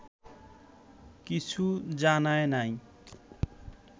কিছু জানায় নাই